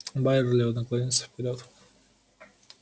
байерли наклонился вперёд